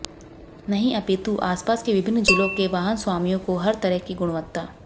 नहीं अपितु आसपास के विभिन्न जिलो के वाहन स्वामियों को हर तरह की गुणवत्ता